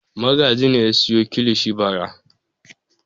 Magaji ne ya sayo kilishi bara.